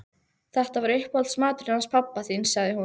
Þetta var uppáhaldsmaturinn hans pabba þíns sagði hún.